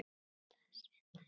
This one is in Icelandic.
eftir Friðrik Pál Jónsson